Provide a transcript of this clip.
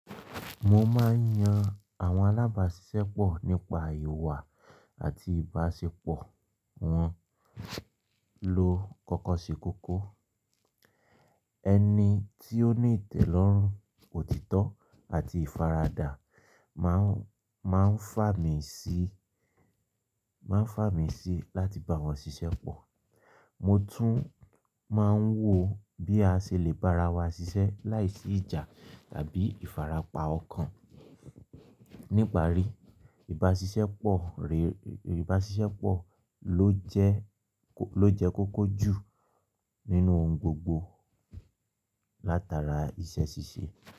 Mo máa ń yan àwọn alábàáṣiṣẹ́ pọ̀ nípa ìwà àti ìbáṣepọ̀ wọn lọ́ kọ̀kọ̀ se kókó. Ẹni tí ó ní ìtẹ̀lọ́rùn, òtítọ́ àti ìfaradà máa ń, máa ń fà mí sí, máa ń fà mí sí láti bá wọn ṣiṣẹ́ pọ̀. Mo tún máa ń wò bí a ṣe lè bárawà ṣiṣẹ́ láìsí ìjà tàbí ìfarapa ọ̀kan. Níparí, ìbá ṣiṣẹ́ pọ̀ réré, ìbá ṣiṣẹ́ pọ̀ ló jẹ́ kó, ló jẹ́ kókó jù nínú ohun gbogbo látara iṣẹ́ ṣíṣe.